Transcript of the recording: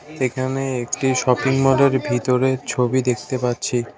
এখানে একটি শপিং মলের ভিতরের ছবি দেখতে পাচ্ছি।